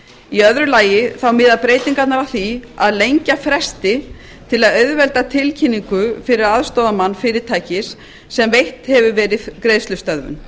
í öðru lagi miða breytingarnar að því að lengja fresti til að auðvelda tilkynningu fyrir aðstoðarmann fyrirtækis sem veitt hefur verið greiðslustöðvun